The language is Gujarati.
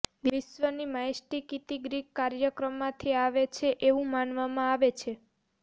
વિશ્વની માયસ્ટીકિતિ ગ્રીક કાર્યમાંથી આવે છે એવું માનવામાં આવે છે